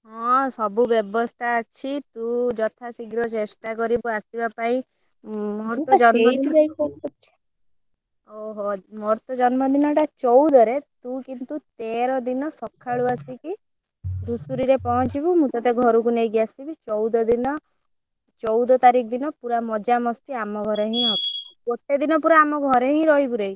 ହଁ ସବୁ ବ୍ୟବସ୍ତା ଅଛି ତୁ ଯଥା ଶୀଘ୍ର ଚେଷ୍ଟା କରିବୁ ଆସିବା ପାଇଁ ଓହୋ! ମୋର ତ ଜନ୍ମଦିନ ଟା ଚଉଦରେ ତୁ କିନ୍ତୁ ତେର ଦିନ ସକାଳୁ ଆସି କି ଧୂସୁରୀରେ ପହଁଚିବୁ ମୁଁ ତତେ ଘରକୁ ନେଇକି ଆସିବି ଚଉଦ ଦିନ ଚଉଦ ତାରିଖ ଦିନ ପୁରା ମଜା ମସ୍ତି ଆମ ଘରେ ହିଁ ହବ ଗୋଟେ ଦିନ ଆମ ଘରେ ହିଁ ରହିବୁ ରେ।